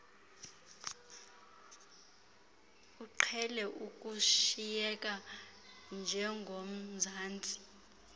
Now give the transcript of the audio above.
uqhele ukushiyeka njengomzali